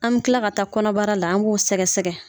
An mi kila ka taa kɔnɔbara la, an b'o sɛgɛsɛgɛ